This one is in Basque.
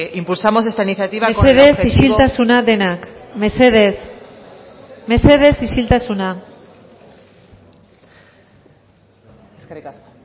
impulsamos esta iniciativa mesedez isiltasuna denak mesedez mesedez isiltasuna eskerrik asko